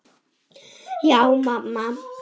Já, mamma.